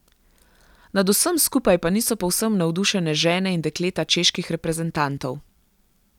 Nad vsem skupaj pa niso povsem navdušene žene in dekleta čeških reprezentantov.